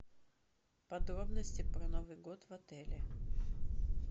подробности про новый год в отеле